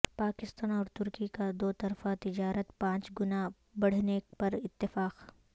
پاکستان اور ترکی کا دو طرفہ تجارت پانچ گنا بڑھانے پر اتفاق